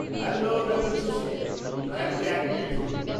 Hello ডাঃ জোশী, দয়া করে এক মিনিট ধরুন।